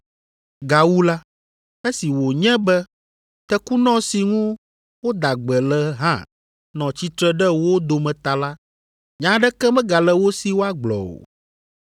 Gawu la, esi wònye be tekunɔ si ŋu woda gbe le hã nɔ tsitre ɖe wo dome ta la, nya aɖeke megale wo si woagblɔ o.